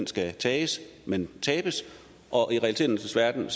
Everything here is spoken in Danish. skal tages men tabes og i realiteternes verden er